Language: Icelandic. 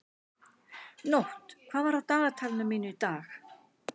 Nótt, hvað er á dagatalinu mínu í dag?